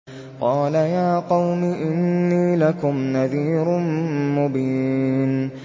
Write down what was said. قَالَ يَا قَوْمِ إِنِّي لَكُمْ نَذِيرٌ مُّبِينٌ